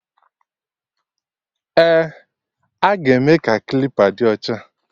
Eh, aga eme ka klipa dị ocha